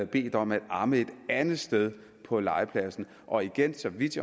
bedt om at amme et andet sted på legepladsen og igen så vidt